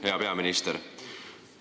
Hea peaminister!